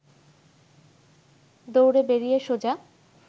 দৌড়ে বেরিয়ে সোজা